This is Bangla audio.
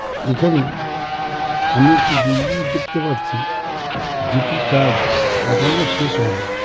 এখানে আমি একটি বিল্ডিং দেখতে পারছি যেটির কাজ এখনো শেষ হয়নি।